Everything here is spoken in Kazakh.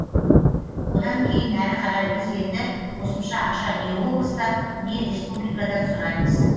одан кейін әрі қарай біз енді қосымша ақша не облыстан не республикадан сұраймыз